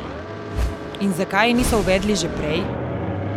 In zakaj je niso uvedli že prej?